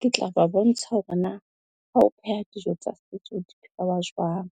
Ke tla ba bontsha hore na ha ho pheha dijo tsa setso di phehwa jwang.